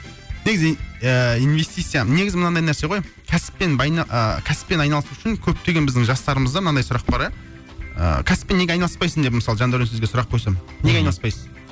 негізі і инвестиция негізі мынандай нәрсе ғой кәсіппен а кәсіппен айналысу үшін көптеген біздің жастарымызда мынандай сұрақ бар а ыыы кәсіппен неге айналыспайсың деп мысалы жандәурен сізге сұрақ қойсам неге айналыспайсыз